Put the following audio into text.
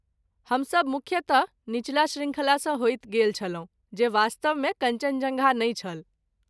हमसभ मुख्यतः निचला श्रृंखलासँ होइत गेल छलहुँ जे वास्तवमे कञ्चनजङ्गा नहि छल।